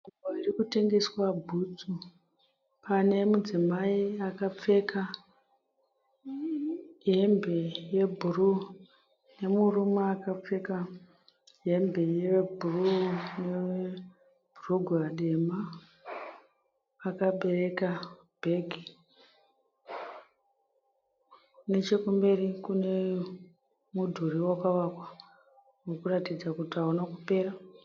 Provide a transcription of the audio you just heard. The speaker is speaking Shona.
Nzvimbo iri kutengeswa bhutsu. Pane mudzimai akapfeka hembe yebhuruu nemurume akapfeka hembe yebhuruu nebhurugwa dema akabereka bhegi. Neche kumberi kune mudhuri wakavakwa uri kuratidza kuti hauna kupera.